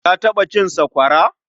Ka taɓa cin sakwara?